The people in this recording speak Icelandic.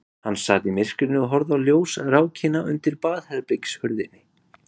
Hann sat í myrkrinu og horfði á ljósrákina undir baðherbergishurðinni.